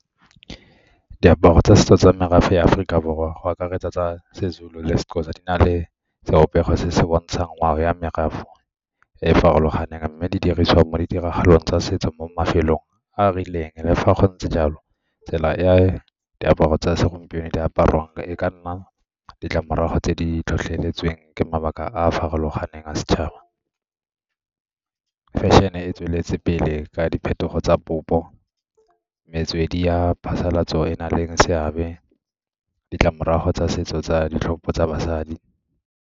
Diaparo tsa setso tsa merafe ya Aforika Borwa go akaretsa seZulu le seXhosa di na le sebopego se se bontshang ngwao ya merafe e e farologaneng, mme di dirisiwa mo ditiragalong tsa setso mo mafelong a a rileng. Le fa go ntse jalo tsela e diaparo tsa segompieno di apariwang e ka nna ditlamorago tse di tlhotlheletsweng ke mabaka a a farologaneng a setšhaba. Fashion-e e tsweletse pele ka diphetogo tsa metswedi ya phasalatso e na leng seabe, ditlamorago tsa setso tsa ditlhopho tsa basadi.